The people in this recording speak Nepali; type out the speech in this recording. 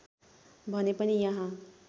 भने पनि यहाँ